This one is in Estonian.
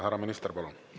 Härra peaminister, palun!